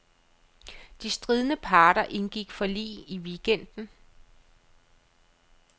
De stridende parter indgik forlig i weekenden.